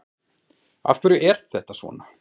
Af hverju er þetta svona?